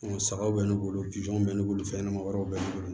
Sagaw bɛ ne bolo bi jɔnw bɛ ne bolo fɛn ɲɛnama wɛrɛw bɛ ne bolo